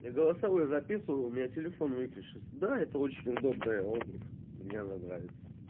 я голосовую записываю у меня телефон выключился да это очень удобная обувь мне она нравится